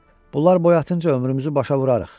Bunlar boyatınca ömrümüzü başa vurarıq.